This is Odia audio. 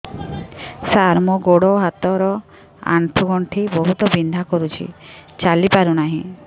ସାର ମୋର ଗୋଡ ହାତ ର ଆଣ୍ଠୁ ଗଣ୍ଠି ବହୁତ ବିନ୍ଧା କରୁଛି ଚାଲି ପାରୁନାହିଁ